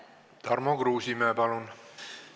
Tarmo Kruusimäe, palun!